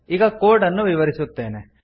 ಈಗ ಕೋಡ್ ಅನ್ನು ವಿವರಿಸುತ್ತೇನೆ